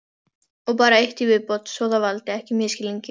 Og bara eitt í viðbót svo það valdi ekki misskilningi.